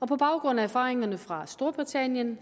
på baggrund af erfaringerne fra storbritannien